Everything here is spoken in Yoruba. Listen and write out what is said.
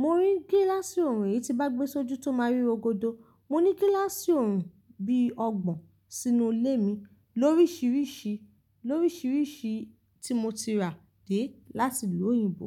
mo ní gíláàsì ọorùn èyí tí bá gbe sójú tó máa rí rogodò, mo ní gíláàsì ọorùn bí ọgbọ̀n sínú ilé mi lórísìírísìí, lórísìírísìí tí mo ti rà dé láti ìlú òyìnbó.